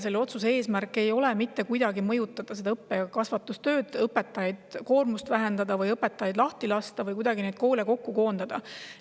Selle otsuse eesmärk ei ole mitte kuidagi mõjutada õppe‑ ja kasvatustööd, õpetajate koormust vähendada, õpetajaid lahti lasta või kuidagi neid koole koondada.